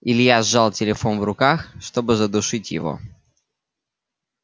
илья сжал телефон в руках чтобы задушить его